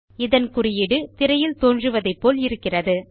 இதன் குறியீடு திரையில் தோன்றுவதைப்போல இருக்கிறது